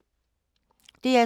DR2